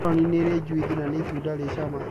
Meloni nĩri juithi na nĩ itunda rĩri cama